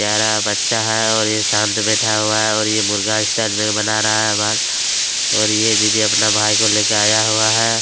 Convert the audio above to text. प्यारा बच्चा है और यह शांत बैठा हुआ है और यह मुर्गा स्टाइल में बना रहा है बाल और ये दीदी अपने भाई को लेकर आया हुआ है।